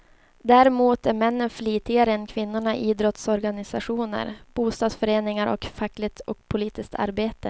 Däremot är männen flitigare än kvinnorna i idrottsorganisationer, bostadsföreningar och i fackligt och politiskt arbete.